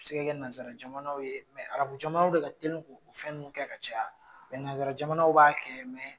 A bi se kɛ nanzara jamanaw ye, arabu jamanaw de ka telin ko fɛn nunnu kɛ ka caya nanzara jamanaw b'a kɛ